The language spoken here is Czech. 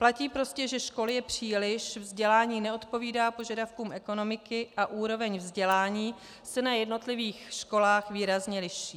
Platí prostě, že škol je příliš, vzdělání neodpovídá požadavkům ekonomiky a úroveň vzdělání se na jednotlivých školách výrazně liší.